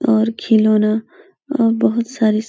और खिलौना अ बहोत सारे --